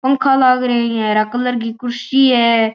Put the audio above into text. पंखा लाग रिया ईया हरे रंग की कुर्सी है।